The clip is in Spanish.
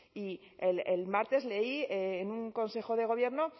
y el martes leí en un consejo de gobierno